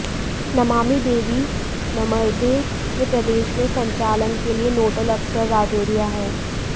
नमामि देवी नर्मदे के प्रदेश में संचालन के लिए नोडल अफसर राजोरिया हैं